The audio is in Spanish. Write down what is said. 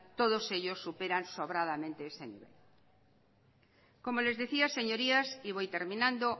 todos ellos superan sobradamente ese nivel como les decía señorías y voy terminando